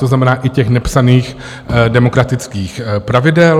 To znamená, i těch nepsaných demokratických pravidel.